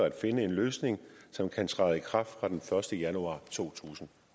at finde en løsning som kan træde i kraft fra den første januar totusinde